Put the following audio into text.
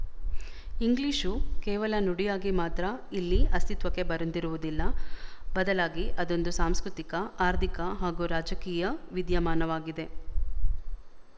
English ಕೇವಲ ನುಡಿಯಾಗಿ ಮಾತ್ರ ಇಲ್ಲಿ ಅಸ್ತಿತ್ವಕ್ಕೆ ಬಂದಿರುವುದಲ್ಲ ಬದಲಾಗಿ ಅದೊಂದು ಸಾಂಸ್ಕೃತಿಕ ಆರ್ಥಿಕ ಹಾಗೂ ರಾಜಕೀಯ ವಿದ್ಯಮಾನವಾಗಿದೆ